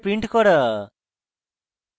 সম্পূর্ণ array print করা